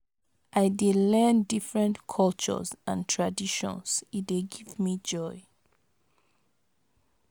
I dey learn different cultures and traditions, e dey give me joy.